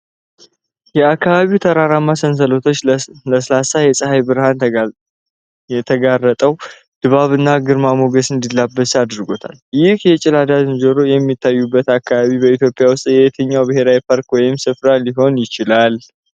የአካባቢው ተራራማ ሰንሰለቶች ለስላሳ የፀሐይ ብርሃን ተጋርጠው፣ ድባቡን ግርማ ሞገስ እንዲላበስ አድርጎታል። ይህ የገላዳ ዝንጀሮዎች የሚታዩበት አካባቢ በኢትዮጵያ ውስጥ የትኛው ብሔራዊ ፓርክ ወይም ስፍራ ሊሆን ይችላል?